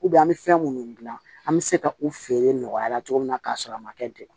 an bɛ fɛn minnu dilan an bɛ se ka u feere nɔgɔya la cogo min na k'a sɔrɔ a ma kɛ degun